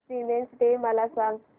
women's day मला सांग